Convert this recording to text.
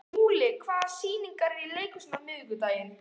Múli, hvaða sýningar eru í leikhúsinu á miðvikudaginn?